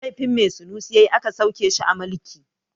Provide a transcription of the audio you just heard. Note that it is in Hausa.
Laifin me sunusi ya yi aka sauke shi a mulki?